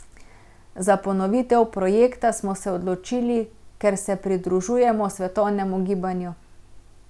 Za ponovitev projekta smo se odločili, ker se pridružujemo svetovnemu gibanju.